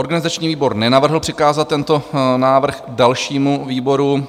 Organizační výbor nenavrhl přikázat tento návrh dalšímu výboru.